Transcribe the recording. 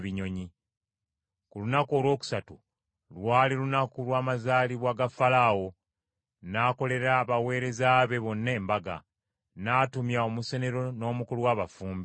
Ku lunaku olwokusatu, lwali lunaku lwa mazaalibwa ga Falaawo, n’akolera abaweereza be bonna embaga, n’atumya omusenero n’omukulu w’abafumbi.